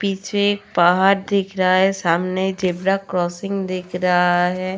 पीछे पहाड़ दिख रहा है सामने ज़ेबरा क्रासिंग दिख रहा है।